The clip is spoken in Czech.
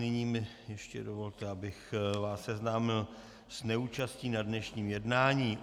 Nyní mi ještě dovolte, abych vás seznámil s neúčastí na dnešním jednání.